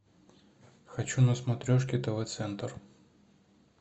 хочу на смотрешке тв центр